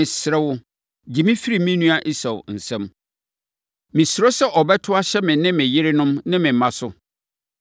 Mesrɛ wo, gye me firi me nua Esau nsam. Mesuro sɛ ɔbɛto ahyɛ me ne me yerenom ne me mma so.